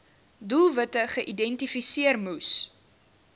doelwitte geïdentifiseer moes